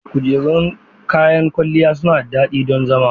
Kujerun kayan kwalliya suna da dadi don zama.